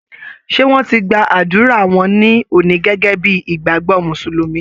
Ṣé wọ́n ti gba ádùrá wọn ní òní gẹ́gẹ́ bí ìgbàgbọ́ Mùsùlùmí?